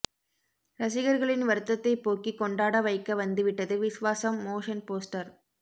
ரசிகர்களின் வருத்தத்தை போக்கி கொண்டாட வைக்க வந்துவிட்டது விஸ்வாசம் மோஷன் போஸ்டர்